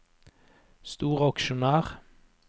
storaksjonær